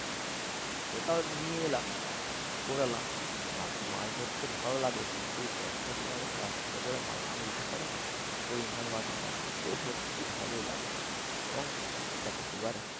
ওটা নিয়ে এলাম কুড়ালাম মাছ ধরতে ভালো লাগে কিন্তু এই বর্ষার সময় যখন রাস্তার উপরে মাছ গুলো উঠে পরে না কই মাছ মাগুর মাছ ওইগুলো ধরতে খুব ভালোই লাগে। এবং দেখো এবার